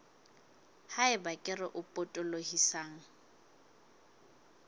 ha eba kere e potolohisang